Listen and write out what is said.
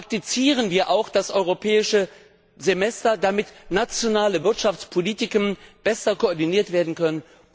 Praktizieren wir auch das Europäische Semester, damit nationale Wirtschaftspolitiken besser koordiniert werden können!